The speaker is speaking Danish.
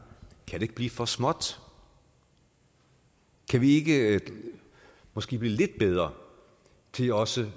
kan det ikke blive for småt kan vi ikke blive måske lidt bedre til også